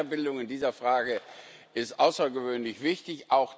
Also Weiterbildung in dieser Frage ist außergewöhnlich wichtig.